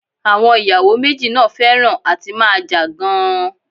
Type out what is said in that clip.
Àwọn ì̀yàwò méjì náà fẹhràn à ti máa jà gan-an.